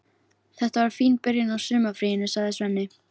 Þetta var fín byrjun á sumarfríinu, sagði Svenni.